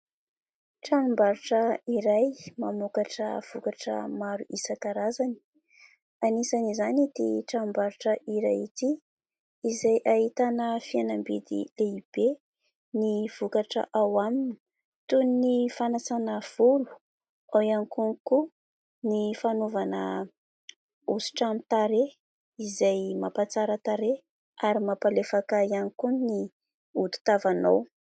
Tranom-barotra iray mamokatra vokatra maro isan-karazany. Anisan'izany ity tranom-barotra iray ity izay ahitana fihenam-bidy lehibe ny vokatra ao aminy, toy ny fanasana volo, ao ihany konkoa ny fanaovana hosotra amin'ny tarehy izay mampatsara tarehy ary mampalefaka ihany koa ny hodi-tavanao.